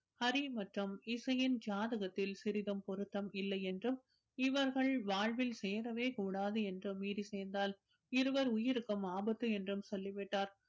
ஹரி மற்றும் இசையின் ஜாதகத்தில் சிறிதும் பொருத்தம் இல்லை என்றும் இவர்கள் வாழ்வில் சேரவே கூடாது என்று மீறி சேர்ந்தால் இருவர் உயிருக்கும் ஆபத்து என்றும் சொல்லிவிட்டார்